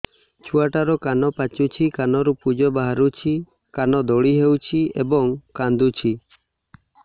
ଛୁଆ ଟା ର କାନ ପାଚୁଛି କାନରୁ ପୂଜ ବାହାରୁଛି କାନ ଦଳି ହେଉଛି ଏବଂ କାନ୍ଦୁଚି